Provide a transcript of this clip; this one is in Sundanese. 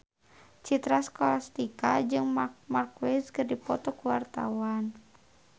Citra Scholastika jeung Marc Marquez keur dipoto ku wartawan